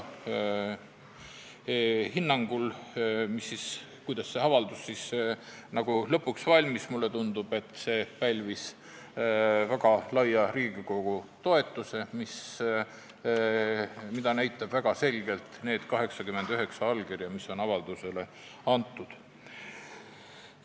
Hinnates seda, kuidas see avaldus lõpuks valmis, tundub mulle, et see pälvis Riigikogu väga laia toetuse, mida näitavad väga selgelt need 89 allkirja, mis on avaldusele antud.